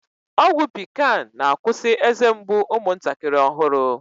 Ọgwụ pikan na-akwusi eze mgbu umụntakịrị ọhụrụ